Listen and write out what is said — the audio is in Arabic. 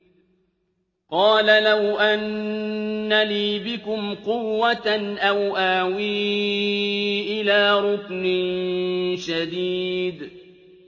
قَالَ لَوْ أَنَّ لِي بِكُمْ قُوَّةً أَوْ آوِي إِلَىٰ رُكْنٍ شَدِيدٍ